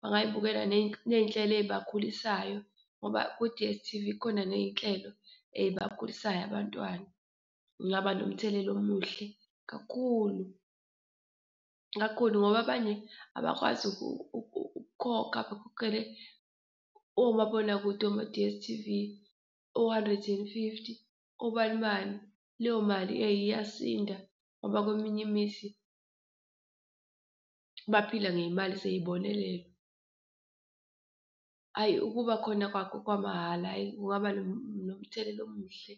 bangayibukela ney'nhlelo eyibakhulisayo ngoba ku-D_S_T_V kukhona ney'nhlelo ey'bakhulisayo abantwana. Kungaba nomthelela omuhle kakhulu, kakhulu ngoba abanye abakwazi ukukhokha bekhokhele omabonakude oma-D_S_T_V o-hundred and fifty obanibani. Leyo mali eyi iyasinda ngoba kweminye imizi baphila ngeyimali zey'bonelelo. Hhayi ukuba khona kwakho kwamahhala hhayi kungaba nomthelela omuhle.